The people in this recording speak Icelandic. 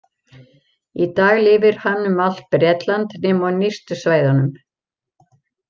Í dag lifir hann um allt Bretland nema á nyrstu svæðunum.